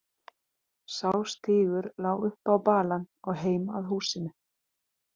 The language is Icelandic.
Sá stígur lá upp á balann og heim að húsinu.